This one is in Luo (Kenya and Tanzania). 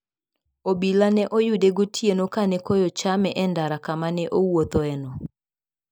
Obila ne oyude gotieno ka ne koyo chame e ndara kama ne owuothoeno.